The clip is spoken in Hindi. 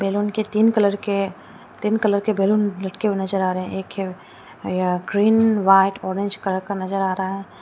बैलून के तीन कलर के तीन कलर के बैलून लटके हुए नजर आ रहे हैं एक है यह ग्रीन व्हाइट ऑरेंज कलर का नजर आ रहा है।